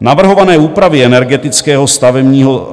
Navrhované úpravy energetického